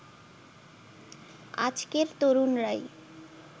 আজকের তরুণরাই